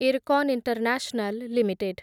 Irfan international limited